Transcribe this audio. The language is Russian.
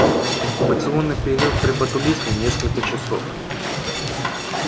инкубационный период при ботулизме несколько часов